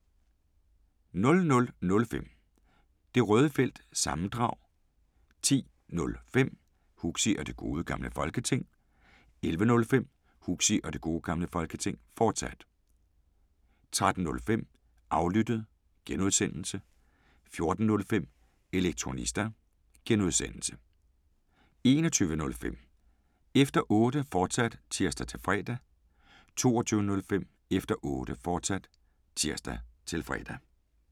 05:05: Det Røde Felt – sammendrag 10:05: Huxi og Det Gode Gamle Folketing 11:05: Huxi og Det Gode Gamle Folketing, fortsat 13:05: Aflyttet (G) 14:05: Elektrionista (G) 21:05: Efter Otte, fortsat (tir-fre) 22:05: Efter Otte, fortsat (tir-fre)